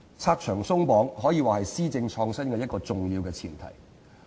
"拆牆鬆綁"可以說是施政創新的一個重要前提。